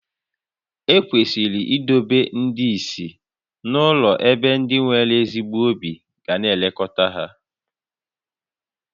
Ekwesịrị idobe ndị ìsì n'ụlọ ebe ndị nwere ezigbo obi ga na-elekọta ha